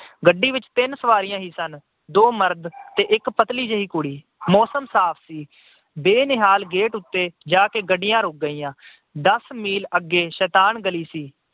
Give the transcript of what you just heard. ਗੱਡੀ ਵਿੱਚ ਤਿੰਨ ਸਵਾਰੀਆਂ ਹੀ ਸਨ- ਦੋ ਮਰਦ ਤੇ ਇੱਕ ਪਤਲੀ ਜਿਹੀ ਕੁੜੀ। ਮੌਸਮ ਸਾਫ ਸੀ। ਬੇਨਿਹਾਲ ਗੇਟ ਤੇ ਜਾ ਕੇ ਗੱਡੀਆਂ ਰੁੱਕ ਗਈਆਂ। ਦਸ ਮੀਲ ਅੱਗੇ ਸ਼ੈਤਾਨ ਗਲੀ ਸੀ।